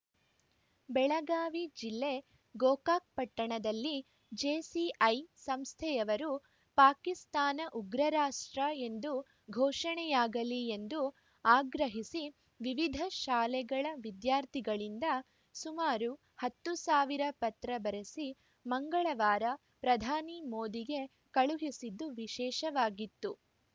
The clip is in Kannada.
ಬೆಳಗಾವಿ ಜಿಲ್ಲೆ ಗೋಕಾಕ್‌ ಪಟ್ಟಣದಲ್ಲಿ ಜೆಸಿಐ ಸಂಸ್ಥೆಯವರು ಪಾಕಿಸ್ತಾನ ಉಗ್ರರಾಷ್ಟ್ರ ಎಂದು ಘೋಷಣೆಯಾಗಲಿ ಎಂದು ಆಗ್ರಹಿಸಿ ವಿವಿಧ ಶಾಲೆಗಳ ವಿದ್ಯಾರ್ಥಿಗಳಿಂದ ಸುಮಾರು ಹತ್ತು ಸಾವಿರ ಪತ್ರ ಬರೆಸಿ ಮಂಗಳವಾರ ಪ್ರಧಾನಿ ಮೋದಿಗೆ ಕಳುಹಿಸಿದ್ದು ವಿಶೇಷವಾಗಿತ್ತು